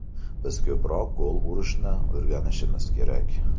Biz ko‘proq gol urishni o‘rganishimiz kerak.